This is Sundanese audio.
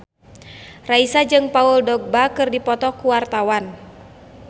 Raisa jeung Paul Dogba keur dipoto ku wartawan